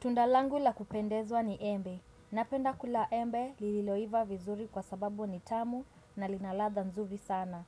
Tunda langu la kupendezwa ni embe. Napenda kula embe lililoiva vizuri kwa sababu ni tamu na lina ladha nzuri sana.